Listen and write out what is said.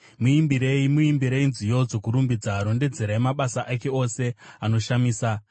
Muimbirei, muimbirei nziyo dzokurumbidza; rondedzerai mabasa ake ose anoshamisa.